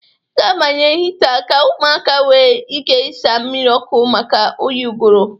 Ị ga-abanye hịta ka ụmụaka nwe ike ịsaa mmiri ọkụ maka oyi ụgụrụ.